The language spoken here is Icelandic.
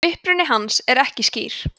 uppruni hans er ekki skýr